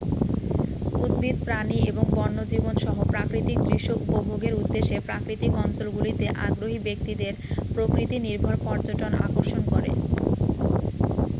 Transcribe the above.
উদ্ভিদ প্রাণী এবং বন্যজীবন-সহ প্রাকৃতিক দৃশ্য উপভোগের উদ্দেশ্যে প্রাকৃতিক অঞ্চলগুলিতে আগ্রহী ব্যক্তিদের প্রকৃতি-নির্ভর পর্যটন আকর্ষণ করে